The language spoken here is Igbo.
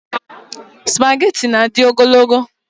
Spageti na-adị ogologo.